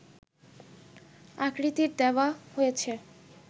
আকৃতির দেওয়া হয়েছে